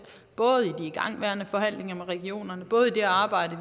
både i igangværende forhandlinger med regionerne og i det arbejde